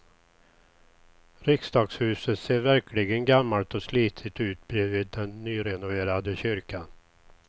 Riksdagshuset ser verkligen gammalt och slitet ut bredvid den nyrenoverade kyrkan.